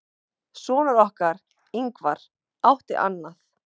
Sonur okkar, Ingvar, átti annað.